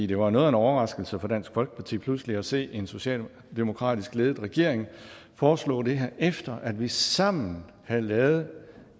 det var noget af en overraskelse for dansk folkeparti pludselig at se en socialdemokratisk ledet regering foreslå det her efter at vi sammen havde lavet